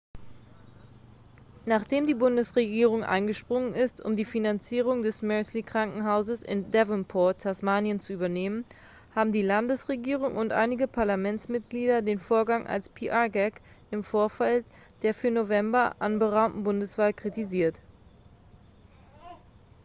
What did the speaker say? nachdem die bundesregierung eingesprungen ist um die finanzierung des mersey-krankenhauses in devonport tasmanien zu übernehmen haben die landesregierung und einige parlamentsmitglieder den vorgang als pr-gag im vorfeld der für november anberaumten bundeswahl kritisiert